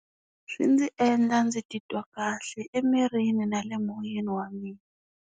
Swi ndzi endla ndzi titwa kahle emirini na le moyeni wa mina.